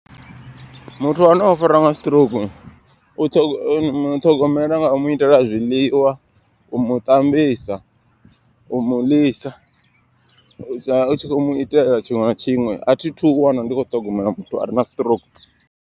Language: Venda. Muthu ane o fariwa nga siṱirouku u muṱhogomela nga u mu itela a zwiḽiwa. U muṱambisa, u muḽisa u tsha u tshi kho mu itela tshiṅwe na tshiṅwe. A thi thu ḓi wana ndi kho ṱhogomela muthu are na siṱirouku.